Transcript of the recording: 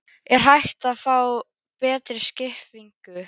Er hægt að fá betri skiptingu?